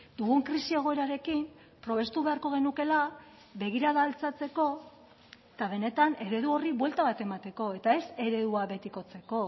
dugun krisi egoerarekin probestu beharko genukeela begirada altxatzeko eta benetan eredu horri buelta bat emateko eta ez eredua betikotzeko